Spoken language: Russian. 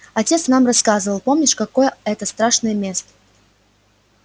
отец нам рассказывал помнишь какое это страшное место